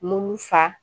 Munu fa